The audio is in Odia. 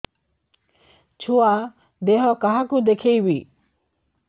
ଛୁଆ ଦେହ କାହାକୁ ଦେଖେଇବି